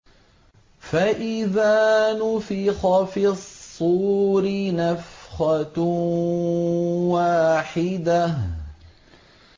فَإِذَا نُفِخَ فِي الصُّورِ نَفْخَةٌ وَاحِدَةٌ